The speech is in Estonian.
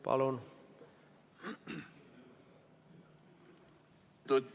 Palun!